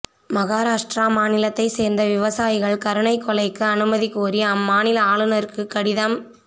மகாராஷ்டிரா மாநிலத்தைச் சேர்ந்த விவசாயிகள் கருணைக் கொலைக்கு அனுமதி கோரி அம்மாநில ஆளுநருக்கு கடிதம் எ